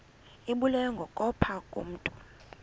ibulewe kukopha ngokomntu